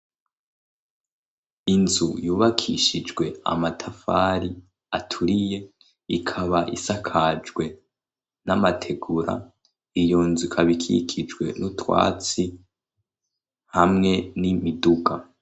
Inzu yubakishijwe amatafari aturiye ikaba isakajwe n'amategura. Iyonzu ikab'ikikijwe n'utwatsi hamwe n'imiduga.